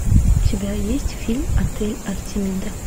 у тебя есть фильм отель артемида